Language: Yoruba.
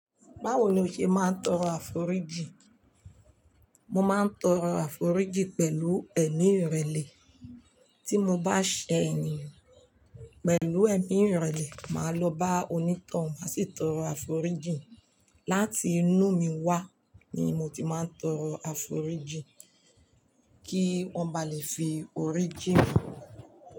Báwo ni o ṣe máa ń tọrọ àforíjì? Mo máa ń tọrọ àforíjì pẹ̀lú ẹ̀mí ìrẹ̀lẹ̀. Tí mo bá ṣẹ ènìyàn pẹ̀lú ẹ̀mí ìrẹ̀lẹ̀, màá lọ bá onítàn má sì tọrọ àforíjì. Láti inú mi wá ni mo ti máa ń tọrọ àforíjì kí wọ́n ba lè fi orí ji mí.